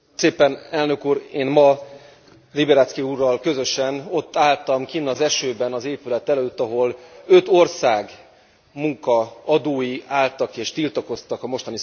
Én ma Liberadzki úrral közösen ott álltam kint az esőben az épület előtt, ahol öt ország munkaadói álltak és tiltakoztak a mostani szabályok ellen.